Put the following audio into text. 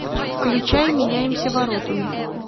включай меняемся воротами